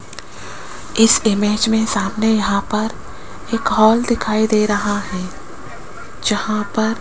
इस इमेज में सामने यहां पर एक हॉल दिखाई दे रहा है जहां पर --